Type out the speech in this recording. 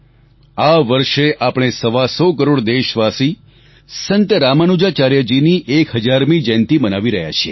આ વર્ષે આપણે સવા સો કરોડ દેશવાસી સંત રામાનુજાચાર્ય જીની 1000મી જયંતિ મનાવી રહ્યા છીએ